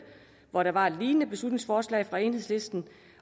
hvor der var et lignende beslutningsforslag fra enhedslisten